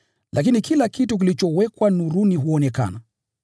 Lakini kila kitu kilichowekwa nuruni, huonekana,